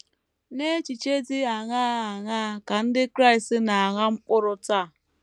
N’echiche dị aṅaa aṅaa ka ndị Kraịst na - agha mkpụrụ taa?